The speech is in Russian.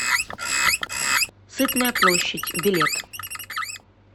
сытная площадь билет